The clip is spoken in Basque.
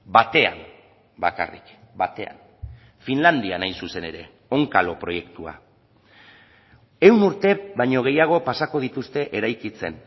batean bakarrik batean finlandian hain zuzen ere onkalo proiektua ehun urte baino gehiago pasako dituzte eraikitzen